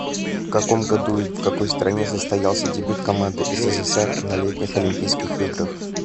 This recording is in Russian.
каком году и в какой стране состоялся дебют команды ссср на летних олимпийских играх